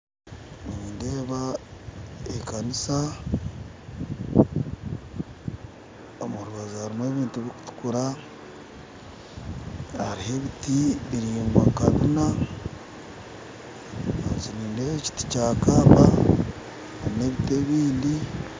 Nindeeba ekaniisa omurubaju harimu ebintu bikutuukura hariho ebiti biraingwa nka bina ahansi nindeeba ekiti kya kamba n'ebiti ebindi